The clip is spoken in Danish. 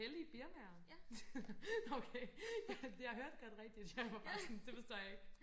hellig birmaer nå okay jeg hørte godt rigtigt jeg var bare sådan det forstår jeg ikke